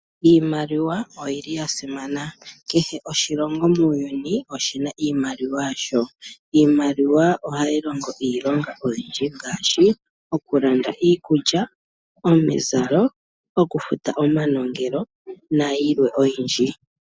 Iimaliwa oyili ya simana. Kehe oshilongo muuyuni oshina iimaliwa yasho. Iimaliwa ohayi longo iilonga oyindji ngaashi okulanda iikulya, omizalo, okufuta omanongelo nayilwe oyindji.